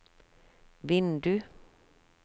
vindu